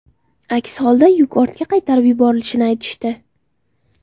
Aks holda yuk ortga qaytarib yuborilishini aytishdi.